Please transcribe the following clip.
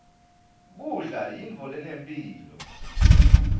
kudla yintfo lenemphilo